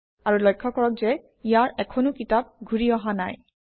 আৰু লক্ষ্য কৰক যে ইয়াৰ এখনো কিতাপ ঘূৰি অহা নাই